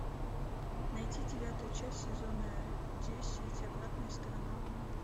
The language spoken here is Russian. найти девятую часть сезона десять обратная сторона луны